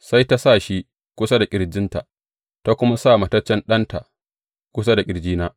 Sai ta sa shi kusa da ƙirjinta, ta kuma sa mataccen ɗanta kusa da ƙirjina.